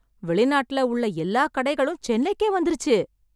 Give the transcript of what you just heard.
வெளிநாட்ல உள்ள எல்லாக் கடைகளும் சென்னைக்கே வந்துருச்சு.